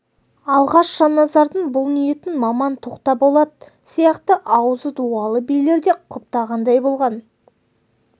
алғаш жанназардың бұл ниетін маман тоқтаболат сияқты аузы дуалы билер де құптағандай болған